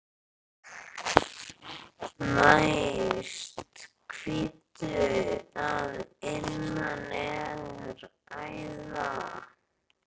Næst hvítu að innan er æða.